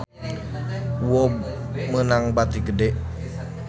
UOB meunang bati gede